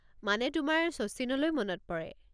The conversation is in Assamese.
মানে তোমাৰ শচীনলৈ মনত পৰে।